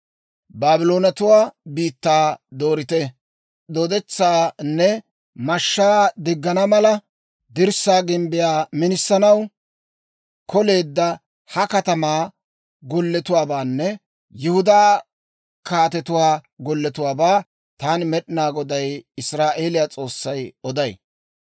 Baabloonatuwaa biittaa dooriita, dooddetsaanne mashshaa diggana mala, dirssaa gimbbiyaa minisanaw koleedda ha katamaa golletuwaabaanne Yihudaa kaatetuwaa golletuwaabaa taani Med'inaa Goday, Israa'eeliyaa S'oossay oday.